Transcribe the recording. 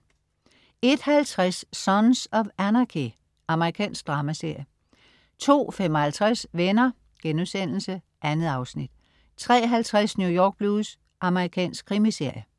01.50 Sons of Anarchy. Amerikansk dramaserie 02.55 Venner.* 2 afsnit 03.50 New York Blues. Amerikansk krimiserie